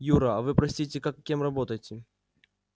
юра а вы простите как кем работаете